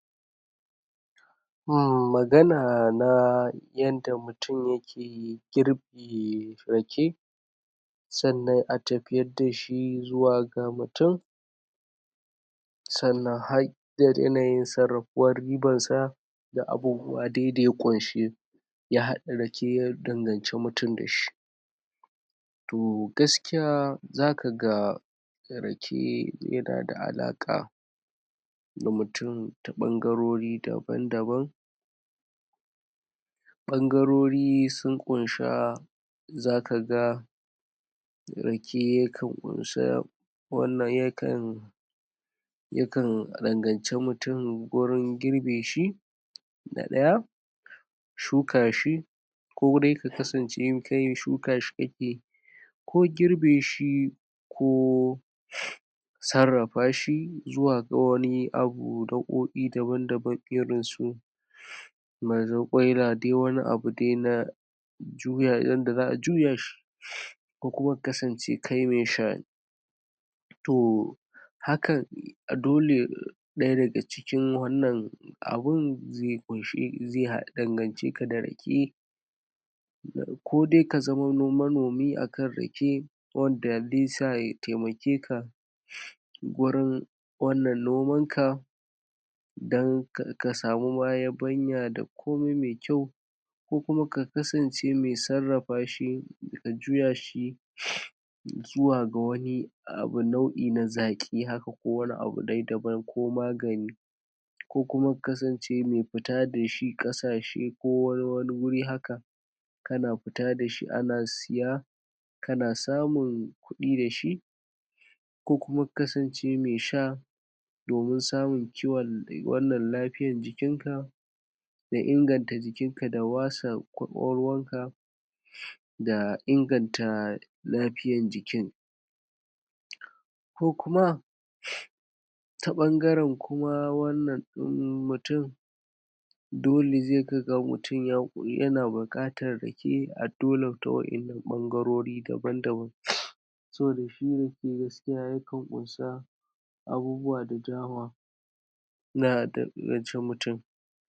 Umm magana na yadda mutun yake girbe rake sannan a tafiyar da shi zuwa ga mutun sannan har da yanayin sarrafuwar riban sa da abubuwa dai da ya ƙunshi ya haɗa rake ya danganci mutun da shi to gaskiya zaka ga rake yana da alaƙa da mutun ta ɓangarori daban-daban ɓangarori sun ƙunsha zaka ga rake ya kan ƙun sa wannan ya kan yakan danganci mutun wurin girbe shi da ɗaya shukar shi ko dai ka kasance kai shuka shi kake yi ko girbe shi ko sarrafa shi zuwa ɗan wani abu nau'oi daban-daban irin su mazarƙwaila dai wani abu dai na juya yanda za'a juya shi ko kuma ka kasance kai mai sha ne to hakan dole ɗaya daga cikin wannan abin zai ƙunshi, zai dangance ka da rake ko dai ka zama manomi akan rake wanda zai sa ya taimake ka gurin wannan noman ka dan ka samu ma yabanya da komi mai kyau ko kuma ka kasance mai sarrafa shi da juya shi zuwa ga wani abu nau'i na zaƙi haka ko wani abu dai daban ko magani ko kuma ka kasance mai fita da shi ƙasashe ko wani guri haka kana fita da shi ana siya kana samun kuɗi da shi ko kuma ka kasance mai sha domin samun ciwon wannan lafiyan jikin ka da inganta jikin ka da wasa ƙwaƙwalwar ka da inganta lafiyan jikin ko kuma ta ɓangaren kuma wannan ɗin mutun dole zai ga ga mutun yana buƙatan rake a dole ta waƴannan ɓangarori daban-daban saboda shi rake gaskiya yakan ƙunsa abubuwa da dama na danganci mutun.